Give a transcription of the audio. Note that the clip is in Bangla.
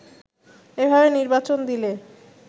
এভাবে নির্বাচন দিলে